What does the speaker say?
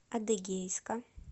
адыгейска